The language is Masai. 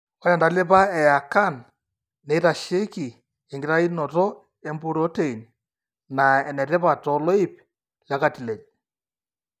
Ore entalipa eACAN neitasheiki enkitainoto empurotein naa enetipat toloip lecartilage.